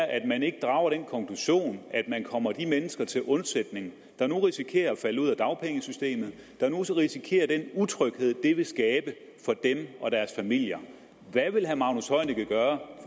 at man ikke drager den konklusion at man kommer de mennesker til undsætning der nu risikerer at falde ud af dagpengesystemet der nu risikerer den utryghed det vil skabe for dem og deres familier hvad vil herre magnus heunicke gøre